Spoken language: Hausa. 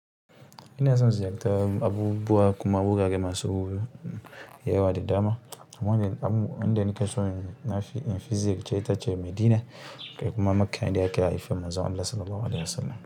Ina son ziyarta abubuwa kuma wurare masu yawa da dama. Amma wanda nake so na fi in fi ziyar ce ita ce Madina da kuma Makkah inda aka haifi Manzon Allah Sallallahu Alaihi Wasallam.